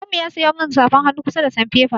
Baban mu ya siyo min safar hannu, ƙusa da sanfefa.